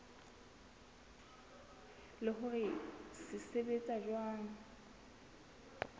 le hore se sebetsa jwang